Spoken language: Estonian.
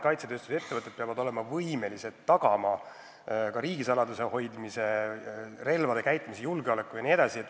Kaitsetööstusettevõtted peavad olema võimelised tagama riigisaladuse hoidmise, relvade käitlemise, julgeoleku jne.